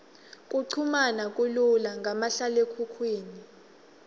kuchumana kulula ngamahlalekhukhwini